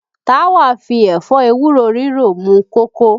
Táwa fi ẹ̀fọ́ ewúro ríro mú kókó